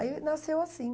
Aí nasceu assim.